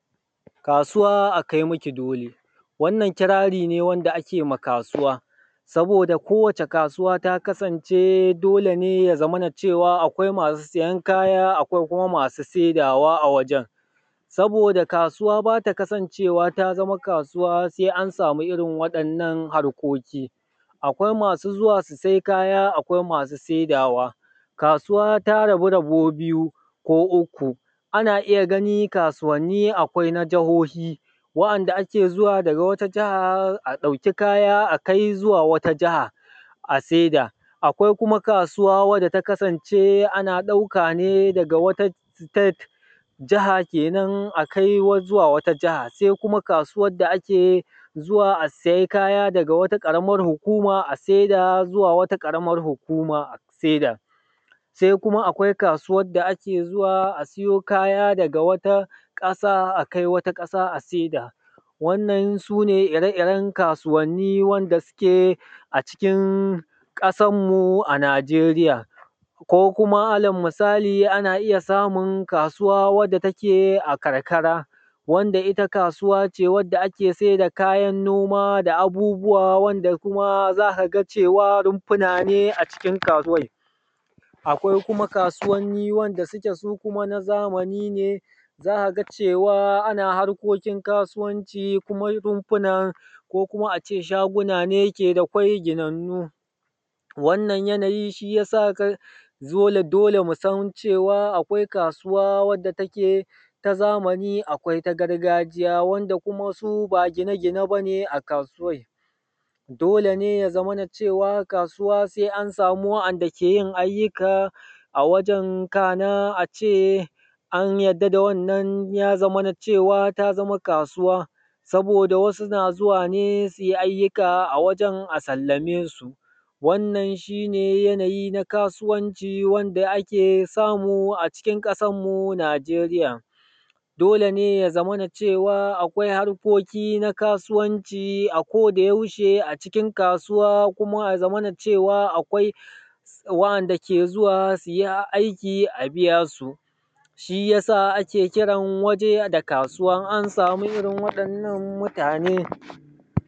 Kasuwa a kai maki dole, wannan kirari ne wanda ake wa kasuwa saboda kowace kasuwa ta kasance dole ne ya zamana cewa akwai masu siyan kaya, akwai kuma masu saida wa a wajan. Saboda kasuwa ba ta kasance wa ta zama kasuwa sai an samu irin waɗannan harkoki, akwai masu zuwa su sai kaya, akwai masu saidawa. Kasuwa ta rabu rabo biyu ko uku, ana iya ganin kasuwani akwai na jahohi wa'anda ake zuwa daga wata jaha a ɗauki kaya a kai zuwa wata jaha a saida. Akwai kuma kasuwa wanda ta kasance ana ɗauka ne daga wani state jaha kenan akai zuwa wata jaha, sai kuma kasuwan da ake zuwa a sai kaya daga wata ƙaramar hukuma a saida zuwa wata ƙaramar hukuma a saida. Sai kuma akwai kasuwan da ake zuwa a siyo kaya daga wata ƙasa akai wata ƙasa a saida. Wannan sune ire iren kasuwanni wanda suke a cikin kasan mu a Najeriya ko kuma allal misali ana iya samun kasuwa wanda take a karkara, wanda ita kasuwa ce da ake sayarda kayan noma da abubuwa wanda kuma za ka ga cewa runfuna ne a cikin kasuwan. Akwai kuma kasuwanni wanda suke su kuma na zamani ne za ka ga cewa ana harkokin kasuwanci kuma rumfunan ko kuma a ce shaguna ne ke da kwai ginannu. Wanna yanayi shi yasa dole dole musan cewa akwai kasuwa wanda take ta zamani akwai ta gargajiya wanda kuma su ba gine gine bane a kasuwan. Dole ne ya zamana cewa kasuwa sai an samu wa'anda ke yin aikyuka a wajan, kana a ce an yadda da wannan ya zamana cewa ta zama kasuwa, saboda wasu na zuwane su yi aiyuka a wajan a sallame su. Wannan shi ne yanayi na kasuwanci wanda ake samu a cikin ƙasarmu Najeriya. Dole ne ya zamana cewa akwai harkoki na kasuwanci a koda yaushe a cikin kasuwa kuma ya zamana cewa akwai wainda ke zuwa su yi aiki a biya su, shi yasa ake kiran waje da kasuwa in an samu irin waɗnnan mutanen.